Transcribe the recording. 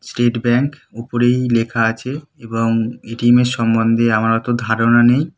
State bank. উপরেই লেখা আছে এবং এ.টি.এম. - এর সমন্ধে আমার অতো ধারণা নাই।